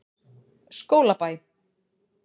Skólabæ